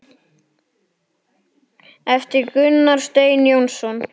eftir Gunnar Stein Jónsson